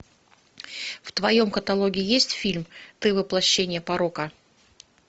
в твоем каталоге есть фильм ты воплощение порока